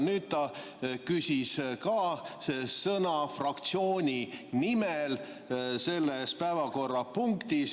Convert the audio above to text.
Nüüd ta küsis ka sõna fraktsiooni nimel selles päevakorrapunktis.